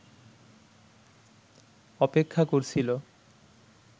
অপেক্ষা করছিল